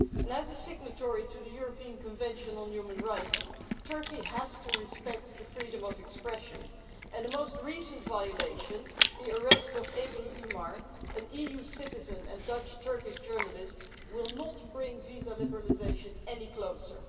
As a signatory to the European Convention on Human Rights, Turkey has to respect freedom of expression, and the most recent violation the arrest of Ebru Umar, an EU citizen and Dutch Turkish journalist will not bring visa liberalisation any closer.